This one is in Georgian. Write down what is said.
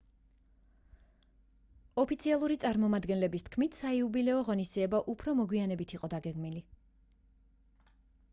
ოფიციალური წარმომადგენლების თქმით საიუბილეო ღონისძიება უფრო მოგვიანებით იყო დაგეგმილი